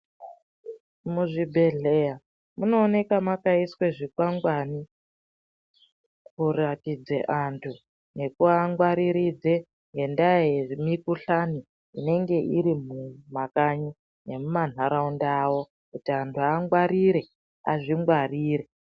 Muzvibhedhleya munooneka makaiswa zvikwangwani, kuratidze antu nekuvangwariridze ngendaa yemikuhlani, inenge iri mumakanyi nemumanharaunda awo ,kuti antu angwarire, azvingwarire.